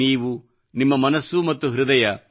ನೀವು ನಿಮ್ಮ ಮನಸ್ಸು ಮತ್ತು ಹೃದಯ